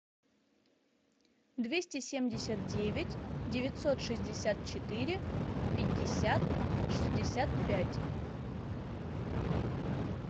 двести семьдесят девять девятьсот шестьдесят четыре пятьдесят шестьдесят пять